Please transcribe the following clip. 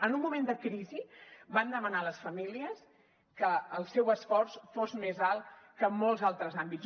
en un moment de crisi van demanar a les famílies que el seu esforç fos més alt que en molts altres àmbits